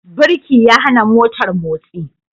Birki ya hana motar motsi.